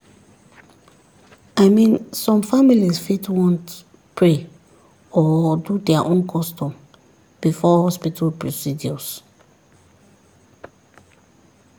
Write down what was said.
i mean some families fit want pray or do their own custom before hospital procedures